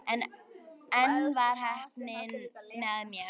En enn var heppnin með mér.